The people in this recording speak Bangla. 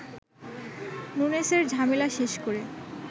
নুনেসের ঝামেলা শেষ করে